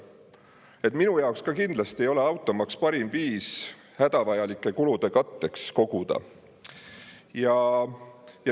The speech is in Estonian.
Ka minu jaoks ei ole automaks kindlasti parim viis hädavajalike kulude katteks koguda.